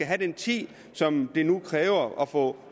have den tid som det nu kræver at få